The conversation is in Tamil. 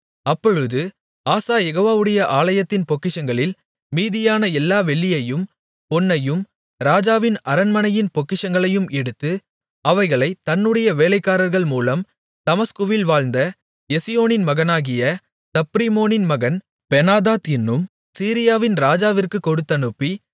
அப்பொழுது ஆசா யெகோவாவுடைய ஆலயத்தின் பொக்கிஷங்களில் மீதியான எல்லா வெள்ளியையும் பொன்னையும் ராஜாவின் அரண்மனையின் பொக்கிஷங்களையும் எடுத்து அவைகளைத் தன்னுடைய வேலைக்காரர்கள் மூலம் தமஸ்குவில் வாழ்ந்த எசியோனின் மகனாகிய தப்ரிமோனின் மகன் பெனாதாத் என்னும் சீரியாவின் ராஜாவிற்குக் கொடுத்தனுப்பி